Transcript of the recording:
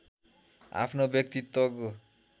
आफ्नो व्यक्तित्वको